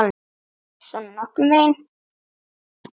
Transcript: Svona nokkurn veginn.